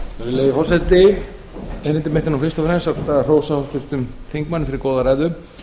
virðulegi forseti erindi mitt er nú fyrst og fremst að hrósa háttvirtum þingmanni fyrir góða ræðu